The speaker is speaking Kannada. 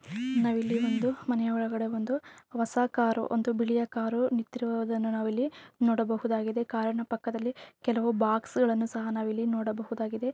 ನಾವಿಲ್ಲಿ ಒಂದು ಮನೆ ಒಳಗಡೆ ಒಂದು ಹೊಸ ಕಾರು ಒಂದು ಬಿಳಿಯ ಕಾರು ನಿಟ್ಟಿರುವುದನ್ನು ನಾವಿಲ್ಲಿ ನೋಡಬಹುದಾಗಿದೆ. ಕಾರ ಣ ಪಕ್ಕದಲ್ಲಿ ಕೆಲವು ಬಾಕ್ಸ್ ಗಳನ್ನು ಸಹ ನಾವಿಲ್ಲಿ ನೋಡಬಹುದಾಗಿದೆ.